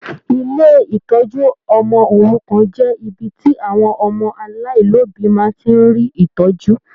Ilé ìtọjú ọmọ òrukàn jẹ ibi tí àwọn ọmọ aláìlobi má ti rí ìtọjú.